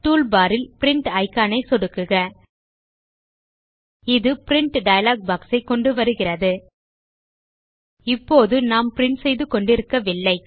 toolbar ல் print icon ஐ click செய்க இது பிரின்ட் டயலாக் பாக்ஸ் ஐ கொண்டு வருகிறது இப்போது நாம் பிரின்ட் செய்து கொண்டிருக்கவில்லை